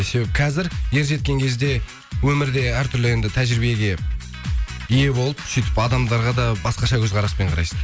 себебі қазір ер жеткен кезде өмірде әр түрлі енді тәжірибеге ие болып сөйтіп адамдарға да басқаша көзқараспен қарайсың